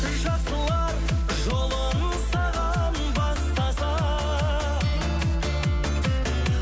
жақсылар жолын саған бастаса